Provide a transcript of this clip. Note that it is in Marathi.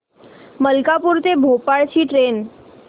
मलकापूर ते भोपाळ ची ट्रेन